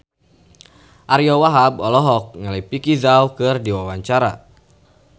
Ariyo Wahab olohok ningali Vicki Zao keur diwawancara